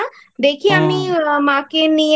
দেখি আমি মাকে নিয়ে